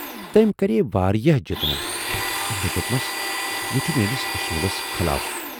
تٔمۍ کرییہِ واریاہ جِتنہٕ تہٕ مےٚ دوپمَس، یہِ چھُ میٲنِس اصوٗلس خلاف